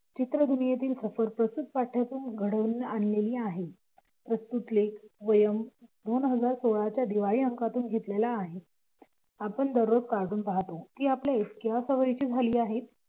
चित्र दुनियेतील घडवून आणलेली आहे. प्रस्तुत लेख दोन हजार सोळा च्या दिवाळी अंकातून घेतलेला आहे. आपण दररोज काढून पाहतो की ते आपल्या इतक्या सवयीचे झालेली आहेत की